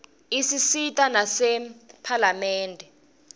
isisita nasemaphalamende